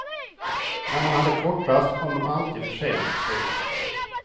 När man hade kortrast kom de alltid för sent. punkt